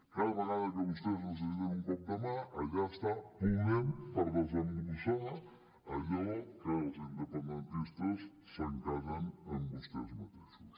cada vegada que vostès necessiten un cop de mà allà està podem per desembussar allò que els independentistes s’encallen amb vostès mateixos